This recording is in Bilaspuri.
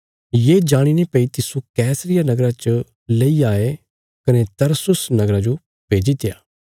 ये जाणीने भई तिस्सो कैसरिया नगरा च लैई आये कने तरसुस नगरा जो भेजित्या